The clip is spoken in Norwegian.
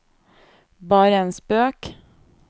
bare en spøk